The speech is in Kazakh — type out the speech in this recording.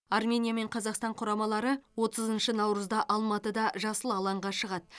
армения мен қазақстан құрамалары отызыншы наурызда алматыда жасыл алаңға шығады